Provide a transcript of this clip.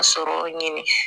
Sɔrɔ ɲini